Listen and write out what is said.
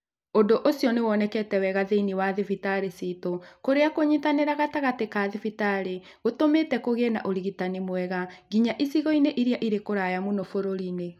Ũndũ ũcio nĩ wonekete wega thĩinĩ wa thibitarĩ ciitũ, kũrĩa kũnyitanĩra gatagatĩ ka thibitarĩ gũtũmĩte kũgĩe na ũrigitani mwega nginya icigo-inĩ iria irĩ kũraya mũno bũrũri-inĩ.